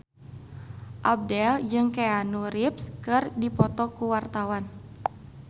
Abdel jeung Keanu Reeves keur dipoto ku wartawan